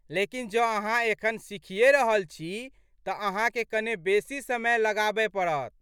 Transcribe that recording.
लेकिन जँ अहाँ एखन सिखिये रहल छी तऽ अहाँके कने बेसी समय लगाबय पड़त।